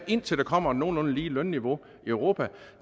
indtil der kommer et nogenlunde lige lønniveau i europa